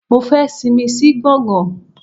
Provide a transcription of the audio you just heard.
Mo fẹ́ sinmi sí gbọ̀ngán.